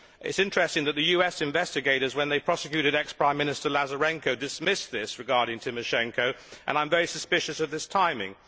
It is interesting that the US investigators, when they prosecuted ex Prime Minister Lazarenko, dismissed this allegation regarding Tymoshenko and I am very suspicious of this timing.